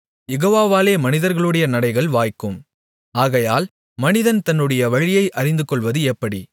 யெகோவாவாலே மனிதர்களுடைய நடைகள் வாய்க்கும் ஆகையால் மனிதன் தன்னுடைய வழியை அறிந்துகொள்வது எப்படி